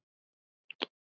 Það brást ekki.